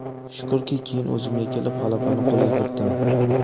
Shukrki, keyin o‘zimga kelib, g‘alabani qo‘lga kiritdim.